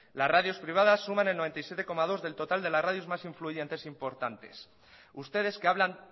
las radios privadas suman el noventa y siete coma dos del total de las radios más influyentes e importantes ustedes que hablan